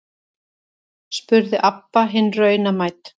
spurði Abba hin raunamædd.